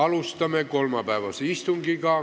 Alustame kolmapäevast istungit.